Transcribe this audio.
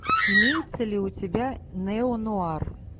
имеется ли у тебя нео нуар